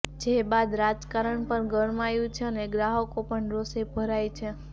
જે બાદ રાજકારણ પણ ગરમાયું છે અને ગ્રાહકો પણ રોષે ભરાય છે